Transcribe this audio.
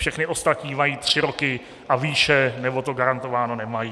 Všechny ostatní mají tři roky a výše, nebo to garantováno nemají.